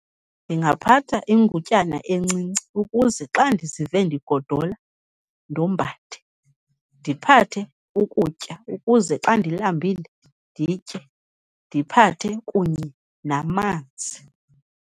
Ndingaphatha ingutyana encinci ukuze xa ndizive ndigodola ndombathe, ndiphathe ukutya ukuze xa ndilambile nditye, ndiphathe kunye namanzi.